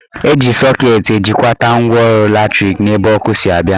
Eji sọket ejikwata ngwaọrụ latrik n'ebe ọkụ si abịa